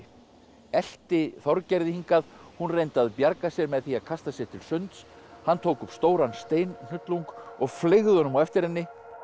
elti Þorgerði hingað hún reyndi að bjarga sér með því að kasta sér til sunds hann tók upp stóran steinhnullung og fleygði honum á eftir henni